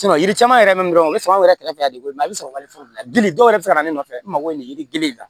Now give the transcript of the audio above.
yiri caman yɛrɛ min bɛ o bɛ sɔrɔ an yɛrɛ kɛrɛfɛ la de i bɛ sɔrɔ wale fɔ gili dɔw yɛrɛ bɛ se ka na ne nɔfɛ n mago bɛ nin ye yiri in na